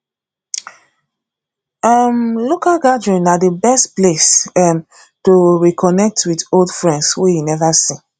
um local gathering na the best place um to reconnect with old friends wey you never see